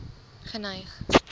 geneig